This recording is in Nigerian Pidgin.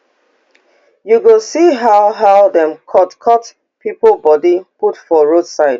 you go see how how dem cutcut pipo body put for roadside